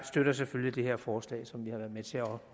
støtter selvfølgelig det her forslag som vi har været med til at